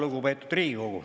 Lugupeetud Riigikogu!